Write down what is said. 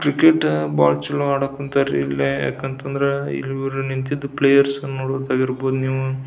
cricket ಬಹಳ ಚಲೋ ಆಡಾಕ್ ಹೊಂಥರ್ ರೀ ಯಾಕ ಅಂತ ಅಂದ್ರೆ ಈ ಊರಲ್ಲಿ ನಿಂತಿರೋ ಪ್ಲೇಯರ್ಸ್ ನೋಡ್ಬೇಕಾಗಿ ಇರ್ಬಹುದು ನೀವು --